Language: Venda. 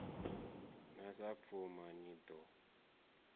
na sa pfuma ni ḓo